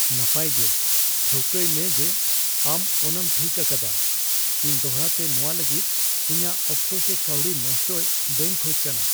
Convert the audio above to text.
ᱱᱟᱯᱟᱭ ᱜᱮ, ᱴᱷᱟᱹᱣᱠᱟᱹᱭᱢᱮ ᱡᱮ ᱟᱢ ᱚᱱᱟᱟᱢ ᱴᱷᱤᱠ ᱟᱠᱟᱫᱟ ᱾ ᱤᱧ ᱫᱚᱲᱦᱟᱛᱮ ᱱᱚᱣᱟ ᱞᱟᱹᱜᱤᱫ ᱤᱧᱟᱜ ᱚᱠᱛᱚ ᱥᱮ ᱠᱟᱹᱣᱰᱤ ᱱᱚᱥᱴᱟᱭ ᱵᱟᱧ ᱠᱷᱚᱡ ᱠᱟᱱᱟ ᱾